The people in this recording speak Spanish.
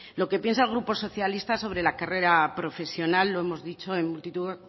lo que piensa el grupo socialista sobre la carrera profesional lo hemos dicho en multitud